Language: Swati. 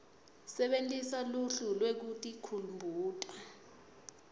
sebentisa luhlu lwekutikhumbuta